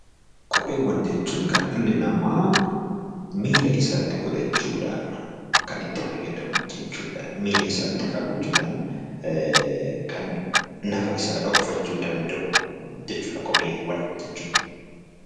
Kopheewwan jechuun kan dhalli namaa miilla isaatti godhachuu dhaan kan itti fayyadamu jechuu dha. Miilla isaatti kaawwachuu dhaan kan nafa isaa dhokfachuu danda'u jechuu dha Kopheewwan jechuun.